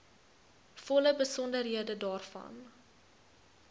volle besonderhede daarvan